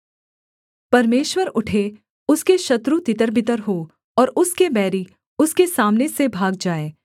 परमेश्वर उठे उसके शत्रु तितरबितर हों और उसके बैरी उसके सामने से भाग जाएँ